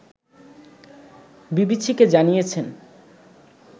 বিবিসিকে জানিয়েছেন